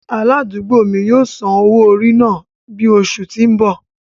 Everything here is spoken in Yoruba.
Aladugbo mi yóò san owo-ori náa ni oṣu ti n bọ.